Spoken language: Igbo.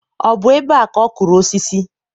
ọ bụ ebe a ka ọ kụrụ osisi?